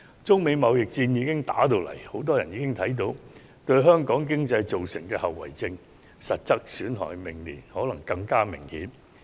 中美貿易戰已經爆發，很多人已看到它對香港經濟造成的後遺症和實質損害，明年可能更加明顯。